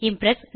Impress